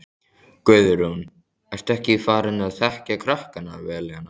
Guðrún: Ertu ekki farin að þekkja krakkana vel hérna?